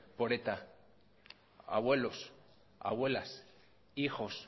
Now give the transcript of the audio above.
por eta abuelos abuelas hijos